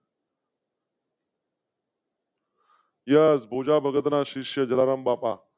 Yes Bhoja ભગતના શિષ્ય જલારામ બાપા.